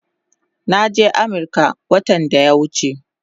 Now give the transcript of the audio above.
Naje Amirka watan daya wuche